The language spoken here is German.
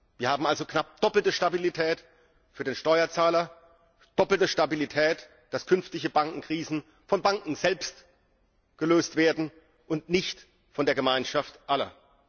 Wir haben also knapp doppelte Stabilität für den Steuerzahler, doppelte Stabilität, dass künftige Bankenkrisen von Banken selbst gelöst werden und nicht von der Gemeinschaft aller.